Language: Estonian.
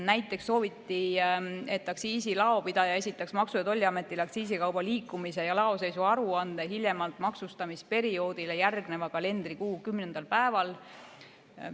Näiteks sooviti, et aktsiisilaopidaja esitaks Maksu- ja Tolliametile aktsiisikauba liikumise ja laoseisu aruande hiljemalt maksustamisperioodile järgneva kalendrikuu 10. päeval.